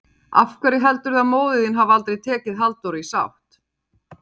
Af hverju heldurðu að móðir þín hafi aldrei tekið Halldóru í sátt?